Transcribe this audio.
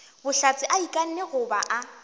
bohlatse a ikanne goba a